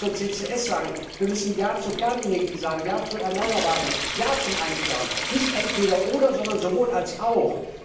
Wir müssen ja zur CCS sagen, wir müssen ja zur Kernenergie sagen, ja zur erneuerbaren Energie, ja zur Einsparung. Nicht entweder oder, sondern sowohl als auch!